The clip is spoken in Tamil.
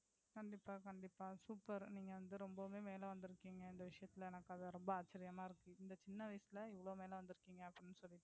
கண்டிப்பா கண்டிப்பா super நீங்க வந்து ரொம்பவே மேல வந்திருக்கீங்க இந்த விசயத்துல எனக்கு அது ரொம்ப ஆச்சரியமா இருக்கு. இந்த சின்ன வயசுல இவளோ மேல வந்திருக்கீங்க அப்படினு சொல்லிட்டு.